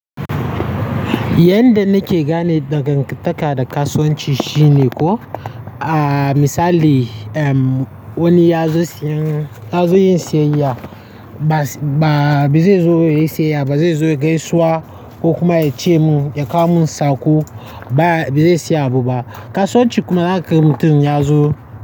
Yanda nake gane dangantaka da kasuwanci shine ko, ah misali, wani ya zo siyan, ya zo yin siyayya, ba-ba, me zai zo yi siyayya, me zai zo gaisuwa ko kuma ya ce mun ya kawo mun sako, ba me zai siya buba. Kasuwanci kuma na karin mutum ya zo.